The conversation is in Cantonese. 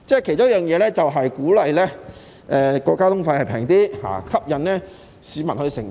其中一個做法便是令交通費便宜點，以吸引市民乘搭。